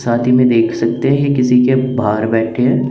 साथ ही में देख सकते हैं किसी के बाहर बैठे हैं।